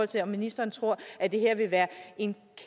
til om ministeren tror at det her vil være en